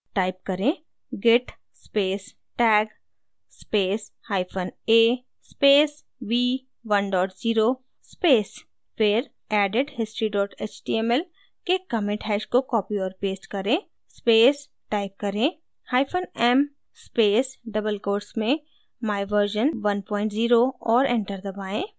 type करें: git space tag space hyphen a space v10 space फिर added history html के commit hash को copy और paste करें space type करें: hyphen m space double quotes में my version 10 और enter दबाएँ